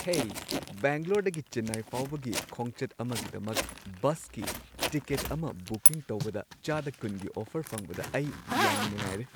ꯍꯦ! ꯕꯦꯡꯒ꯭ꯂꯣꯔꯗꯒꯤ ꯆꯦꯟꯅꯥꯏ ꯐꯥꯎꯕꯒꯤ ꯈꯣꯡꯆꯠ ꯑꯃꯒꯤꯗꯃꯛ ꯕꯁꯀꯤ ꯇꯤꯀꯦꯠ ꯑꯃ ꯕꯨꯀꯤꯡ ꯇꯧꯕꯗ ꯆꯥꯗ ꯀꯨꯟꯒꯤ ꯑꯣꯐꯔ ꯐꯪꯕꯗ ꯑꯩ ꯌꯥꯝꯅ ꯅꯨꯡꯉꯥꯏꯔꯦ ꯫